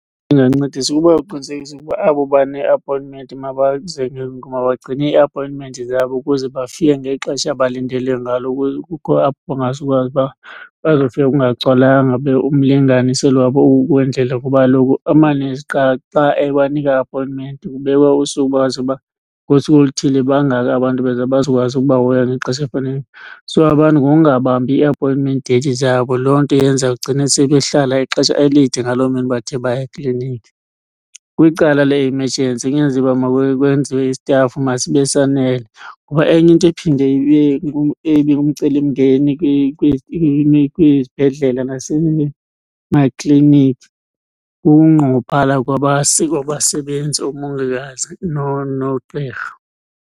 Ndingancedisa ukubaqinisekisa ukuba abo bane-appointment mabagcine ii-appointment zabo ukuze bafike ngexesha abalindelwe ngalo. Kukho apho bangazukwazi uba bazofika kungagcwalanga ube umlinganiselo wabo wendlela, kuba kaloku amanesi kuqala xa ebanika i-appointment kubekwa usuku bazi uba ngosuku oluthile bangaka abantu abezayo bazokwazi ukubahoya ngexesha elifaneleyo. So abantu ngokungabambi ii-appointment date zabo loo nto yenza kugcine sekehlala ixesha elide ngaloo mini bathe baya ekliniki. Kwicala le-emergency uba kwenziwe isitafu masibe sanele. Ngoba enye into ephinde ibe , eye ibe ngumcelimngeni kwizibhedlela nasemakliniki kukunqongophala kwabasebenzi, oomongikazi nogqirha.